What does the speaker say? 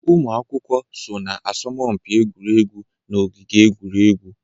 Ụmụ akwụkwọ so na asọmpi egwuregwu na ogige egwuregwu.